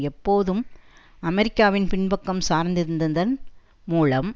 எப்போதும் அமெரிக்காவின் பின்பக்கம் சார்ந்திருந்ததன் மூலம்